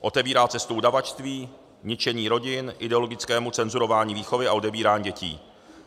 Otevírá cestu udavačství, ničení rodin, ideologickému cenzurování výchovy a odebírání dětí.